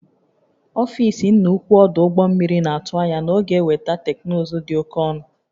Ọfịs nna ukwu ọdụ ụgbọ mmiri na-atụ anya na ọ ga-enweta teknụzụ dị oke ọnụ